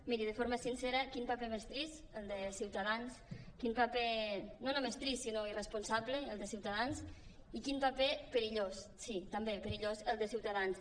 miri de forma sincera quin paper més trist el de ciutadans quin paper no només trist sinó irresponsable el de ciutadans i quin paper perillós sí també perillós el de ciutadans